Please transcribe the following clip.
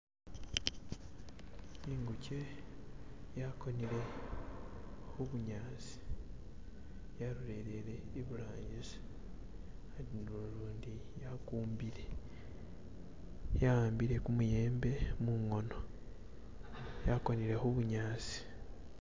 Ingujje yagonere kubunyasi, yasililire imaaso, indilundi yagumbile, yawambire gumuyembe munkono, yagonere ku bunyasi.